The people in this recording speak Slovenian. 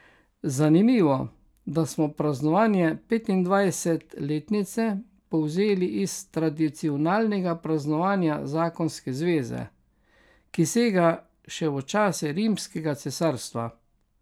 Zanimivo, da smo praznovanje petindvajset letnice povzeli iz tradicionalnega praznovanja zakonske zveze, ki sega še v čase rimskega cesarstva.